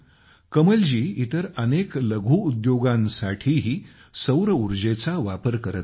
कमलजी इतर अनेक लघु उद्योगांसाठीही सौर उर्जेचा वापर करत आहेत